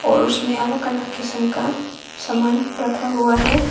और उसमें अलग अलग किस्म का सामान रखा हुआ है।